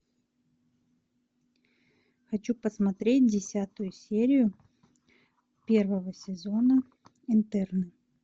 хочу посмотреть десятую серию первого сезона интерны